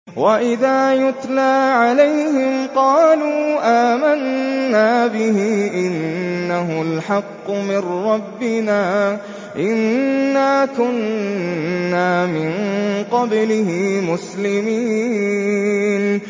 وَإِذَا يُتْلَىٰ عَلَيْهِمْ قَالُوا آمَنَّا بِهِ إِنَّهُ الْحَقُّ مِن رَّبِّنَا إِنَّا كُنَّا مِن قَبْلِهِ مُسْلِمِينَ